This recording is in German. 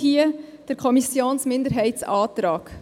Deshalb hier der Kommissionsminderheitsantrag.